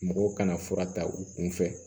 Mɔgɔw kana fura ta u kun fɛ